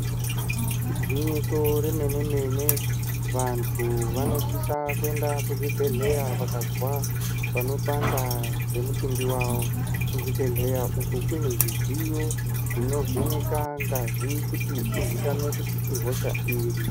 Igwinyiso remene-mene, vantu vanosisa kuenda kuchibhedhlera vakazwa panopanda pemitumbi yavo. Kuzvibhedhlera uko kune zvidziyo zvinovheneka ngazi kuti izikanwe kuti ihosha iri.